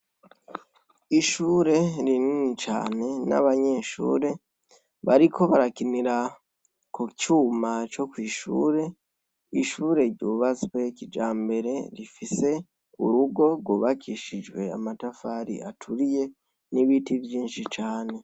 Ishure rinini cane n'abanyeshure bariko barakinira kucuma co kw'ishure. Ishure ryubastwe kijambere rifise urugo rwubakishijwe amatafari aturiye n'ibiti vyinshi cane.